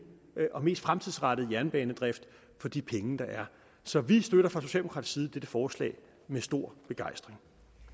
og mest fremtidsrettede jernbanedrift for de penge der er så vi støtter fra socialdemokratisk side dette forslag med stor begejstring